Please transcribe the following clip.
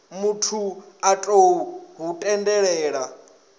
muthu a tou hu tendelela